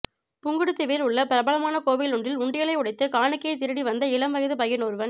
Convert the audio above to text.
புங்குடுதீவில் உள்ள பிரபலமான கோவில் ஒன்றில் உண்டியலை உடைத்து காணிக்கையை திருடி வந்த இளம்வயது பையன் ஒருவன்